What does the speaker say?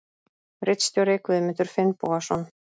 Ritstjóri Guðmundur Finnbogason.